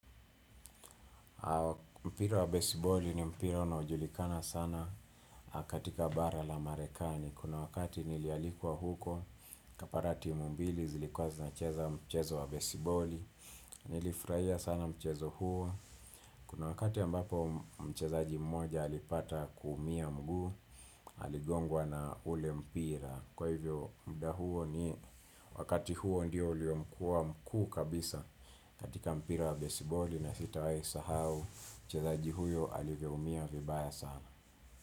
Mpira wa besiboli ni mpira unaojulikana sana, katika bara la marekani. Kuna wakati nilialikwa huko, nikapata timu mbili zilikuwa zinacheza mchezo wa besiboli. Nilifurahia sana mchezo huo. Kuna wakati ambapo mchezaji mmoja alipata kuumia mguu, aligongwa na ule mpira. Kwa hivyo, muda huo ni wakati huo ndio uliokuwa mkuu kabisa. Katika mpira wa besibali, na sitawai sahau mchezaji huyo alivyoumia vibaya sana.